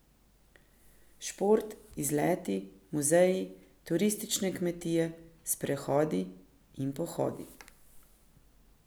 Šport, izleti, muzeji, turistične kmetije, sprehodi in pohodi ...